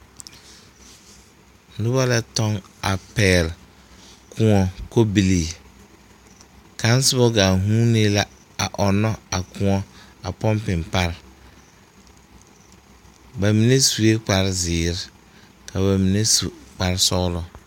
Noba la tɔŋ a pɛgl koɔ kɔbilee kaŋ soba gaa vunee la a ɔŋnɔ a koɔ a pɔmpiŋ pare bamine sue kpare zēēre ka bamine su kpare sɔglɔ.